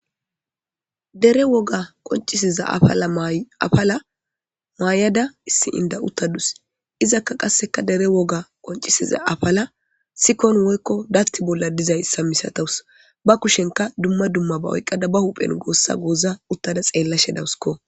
Dere woga qoncisiza afala afala maayada issi inda uttadus izakka qasseka dere woga qoncisiza afala sikon woykko datti bolla dizay issa misatawus ba kushenka dumma dumma ba oyqqada ba huphen goossa gooza uttada xeella shedawuskko.